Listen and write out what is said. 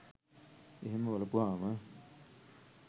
එහෙම බලපුවම